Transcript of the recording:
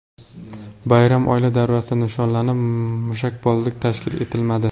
Bayram oila davrasida nishonlanib, mushakbozlik tashkil etilmadi .